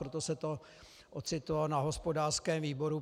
Proto se to ocitlo na hospodářském výboru.